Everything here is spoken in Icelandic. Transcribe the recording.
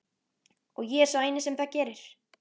Og ég er sá eini sem það gerir.